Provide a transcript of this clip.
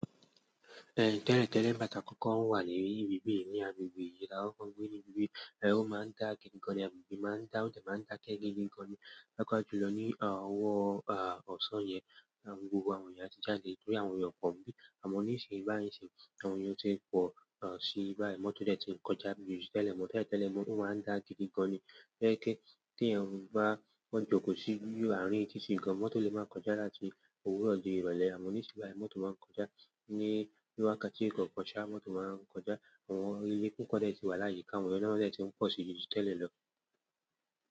Tẹ́lẹ̀tẹ́lẹ̀ nígbà tí a kọ́kọ́ ń wà ni bibi yìí, ní agbègbè yìí ni a kọ́kọ́ ń gbé ní ibí, ó ma ń dá gidi gan-an, agbègbè yìí ma n dáá, ó dẹ̀ ma ń dákẹ́ gidi gan-an ni. Pàápàá ju lọ ní ọwọ́ ọ̀sán yẹn, gbogbo àwọn èèyàn áti jáde, torí àwọn èèyàn ò pọ̀ níbí. Àmọ́ ni ìsìn báyìí ń sììn-ín, àwọn èèyàn ti pọ si báyìí mọ́n, tó dẹ̀ tí n kọjá bí ti tẹ́lẹ̀ mọ̀ọ́. Tẹ́lẹ̀tẹ́lẹ̀ ó ma ń dá gidi gan-an ni. Tó jẹ́ wípé, tí èèyàn bá kọ́ jókòó si àárín títì gan-an, mọ́tò le máa kọjá láti òwúrọ̀ di ìrọ̀lẹ́, àmọ́ àní ní ìsìn bá yìí mọ́tò ma ń kọjá ní wákàtí kọ̀ọ̀kan ṣá, mọ́tò máa ń kọjá. Àwọn ẹyẹ púpọ̀ dẹ ti wà láyìíká, wọ́n dẹ̀ ti ń pọ̀ ju ti tẹ́lẹ̀ lọ.